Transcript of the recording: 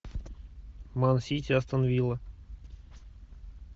ман сити астон вилла